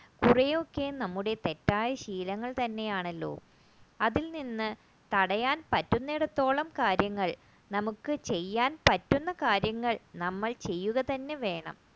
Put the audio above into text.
കുറെയൊക്കെ നമ്മുടെ തെറ്റായ ശീലങ്ങൾ തന്നെയാണല്ലോ അതിൽനിന്നും തടയാൻ പറ്റുന്നിടത്തോളം കാര്യങ്ങൾ നമുക്ക് ചെയ്യാൻ പറ്റുന്ന കാര്യങ്ങൾ നമ്മൾ ചെയ്യുക തന്നെ വേണം